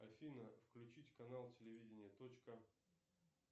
афина включить канал телевидение точка